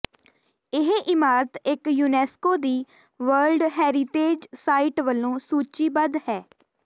ਇਹ ਇਮਾਰਤ ਇੱਕ ਯੂਨੈਸਕੋ ਦੀ ਵਰਲਡ ਹੈਰੀਟੇਜ ਸਾਈਟ ਵਜੋਂ ਸੂਚੀਬੱਧ ਹੈ